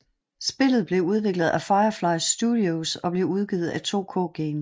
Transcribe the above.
Spillet blev udviklet af Firefly Studios og blev udgivet af 2K Games